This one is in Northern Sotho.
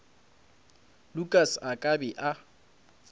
lukas a ka be a